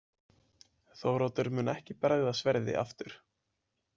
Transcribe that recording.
Þóroddur mun ekki bregða sverði aftur.